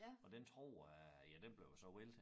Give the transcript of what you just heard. Og den tror jeg ja den blev jo så væltet